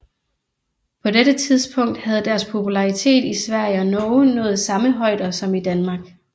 På dette tidspunkt havde deres popularitet i Sverige og Norge nået samme højder som i Danmark